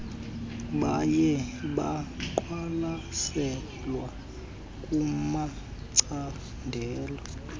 baye baqwalaselwe kumacandelo